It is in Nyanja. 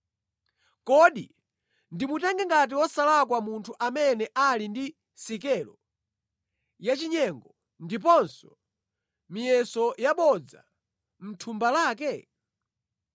Kodi ndimutenge ngati wosalakwa munthu amene ali ndi sikelo yachinyengo, ndiponso miyeso yabodza mʼthumba lake?